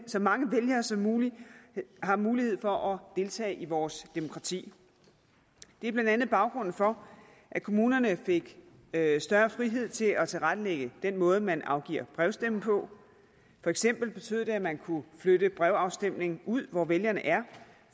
så mange vælgere som muligt har mulighed for at deltage i vores demokrati det er blandt andet baggrunden for at kommunerne fik større frihed til at tilrettelægge den måde man afgiver brevstemme på for eksempel betød det at man kunne flytte brevafstemning ud hvor vælgerne er